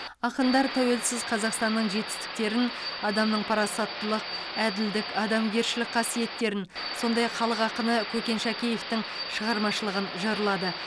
ақындар тәуелсіз қазақстанның жетістіктерін адамның парасаттылық әділдік адамгершілік қасиеттерін сондай ақ халық ақыны көкен шәкеевтің шығармашылығын жырлады